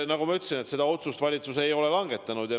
Nagu ma ütlesin, seda otsust valitsus ei ole langetanud.